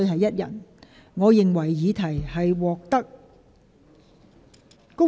"不過，我認為不可以。